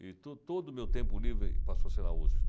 E tu todo o meu tempo livre passou a ser na USP.